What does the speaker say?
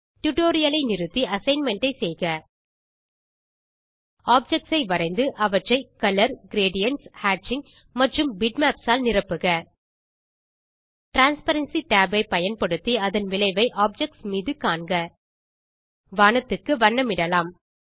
tutorial ஐ நிறுத்தி assignment ஐ செய்க ஆப்ஜெக்ட்ஸ் ஐ வரைந்து அவற்றை கலர் கிரேடியன்ட்ஸ் ஹேட்சிங் மற்றும் பிட்மேப்ஸ் ஆல் நிரப்புக டிரான்ஸ்பரன்சி tab ஐ பயன்படுத்தி அதன் விளைவை ஆப்ஜெக்ட்ஸ் மீது காண்க வானத்துக்கு வண்ணமிடலாம்